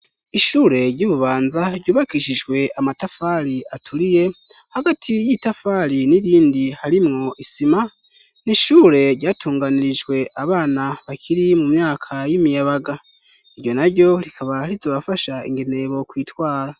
Ishure ryi Bubanza ryubakishijwe amatafari aturiye ,hagati y'itafari n'irindi, harimwo isima. N'ishure ryatunganirijwe abana bakiri mu myaka y'imiyabaga. Iryo na ryo rikaba rizobafasha ingene bokwitwara.